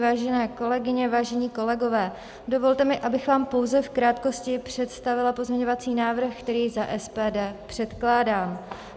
Vážené kolegyně, vážení kolegové, dovolte mi, abych vám pouze v krátkosti představila pozměňovací návrh, který za SPD předkládám.